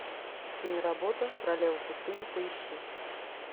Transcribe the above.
киноработа королева пустыни поищи